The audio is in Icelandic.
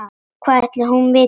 Hvað ætli hún viti?